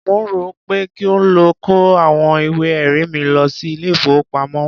Mò ń rò ó pé kí n lọ kó àwọn ìwé-ẹ̀rí mi lọ sí ilé-ìfowópamọ́.